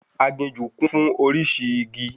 Aginjù kún fún orísìí igi